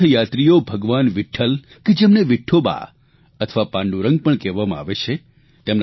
તીર્થયાત્રીઓ ભગવાન વિઠ્ઠલ કે જેમને વિઠોબા અથવા પાંડુરંગ પણ કહેવામાં આવે છે